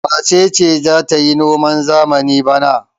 Wace ce za ta yi noman zamani bana?